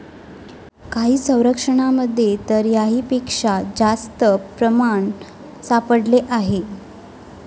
काही सर्वेक्षणांमध्ये तर याहीपेक्षा जास्त प्रमाण सापडले आहे.